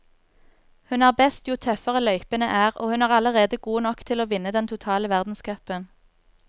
Hun er best jo tøffere løypene er, og hun er allerede god nok til å vinne den totale verdenscupen.